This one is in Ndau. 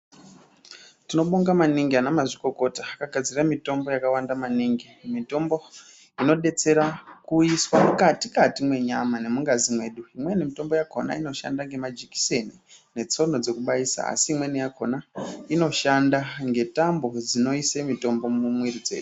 Tinobonga maningi ana mazvikokota akagadzira mitombo yakawanda maningi mitombo inodetsera kuiswa mukati kati menyama imweni mitombo yacho inenge yakazara majekiseni netsono dzekubaisa asi imweni yacho inoshanda ngetambo dzinoisa mitombo mumwiri medu.